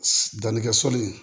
Dannikɛ sɔli